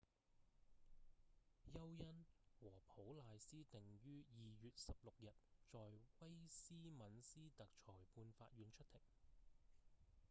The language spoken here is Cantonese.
休恩和普賴斯定於2月16日在威斯敏斯特裁判法院出庭